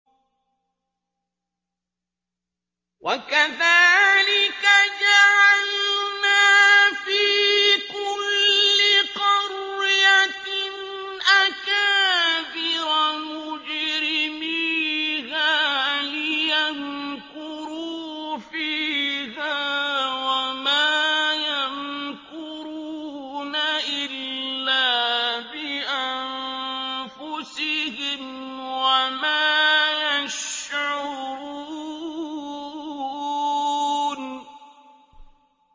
وَكَذَٰلِكَ جَعَلْنَا فِي كُلِّ قَرْيَةٍ أَكَابِرَ مُجْرِمِيهَا لِيَمْكُرُوا فِيهَا ۖ وَمَا يَمْكُرُونَ إِلَّا بِأَنفُسِهِمْ وَمَا يَشْعُرُونَ